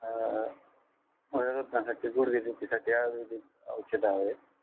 हम्म वयरुद्धसाठी गुडगे दुखीसाठी आयुर्वेदिक औषध आहे